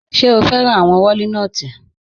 Ṣẹ̀ o fẹ́ran awọn wòlínotí?